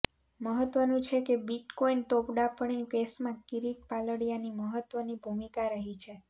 મહત્વનુ છે કે બિટકોઈન તોડપાણી કેસમાં કિરીટ પાલડિયાની મહત્વની ભૂમિકા રહી છે